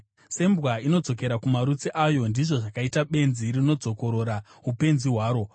Sembwa inodzokera kumarutsi ayo, ndizvo zvakaita benzi rinodzokorora upenzi hwaro.